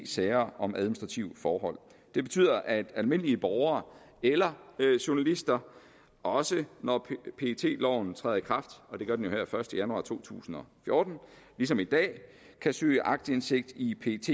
sager om administrative forhold det betyder at almindelige borgere eller journalister også når pet loven træder i kraft og det gør den jo første januar to tusind og fjorten som i dag kan søge aktindsigt i pets